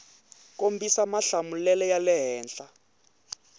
kombisa mahlamulelo ya le henhla